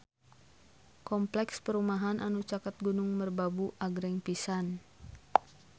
Kompleks perumahan anu caket Gunung Merbabu agreng pisan